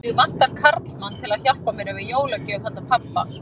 Mig vantar karlmann til að hjálpa mér að velja jólagjöf handa pabba